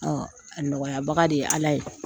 A nɔgɔyabaga de ye ala ye.